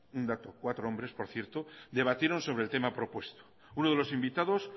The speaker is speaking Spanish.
un dato cuatro hombres por cierto debatieron sobre el tema propuesto uno de los invitados